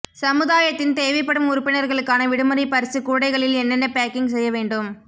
சமுதாயத்தின் தேவைப்படும் உறுப்பினர்களுக்கான விடுமுறை பரிசு கூடைகளில் என்னென்ன பேக்கிங் செய்ய வேண்டும்